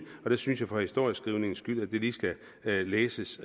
og der synes jeg for historieskrivningens skyld at det lige skal læses